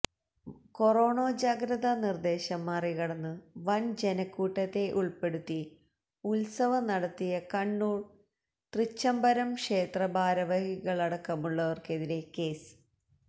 corona ജാഗ്രതാ നിര്ദ്ദേശം മറികടന്നു വൻ ജനക്കൂട്ടത്തെ ഉൾപ്പെടുത്തി ഉത്സവം നടത്തിയ കണ്ണൂര് തൃച്ചംബരം ക്ഷേത്ര ഭാരവാഹികളടക്കമുള്ളവര്ക്കെതിരെ കേസ്